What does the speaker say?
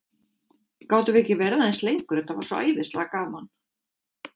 Gátum við ekki verið aðeins lengur, þetta var svo æðislega gaman?